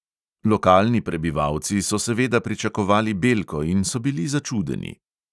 Lokalni prebivalci so seveda pričakovali belko in so bili začudeni.